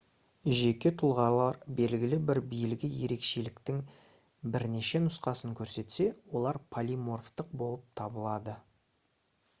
жеке тұлғалар белгілі бір белгі ерекшеліктің бірнеше нұсқасын көрсетсе олар полиморфтық болып табылады